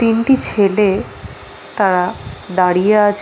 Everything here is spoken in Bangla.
তিনটি ছেলে তারা দাঁড়িয়ে আছ --